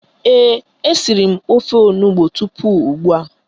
Ee, e siri m ofe onugbo tupu ugbua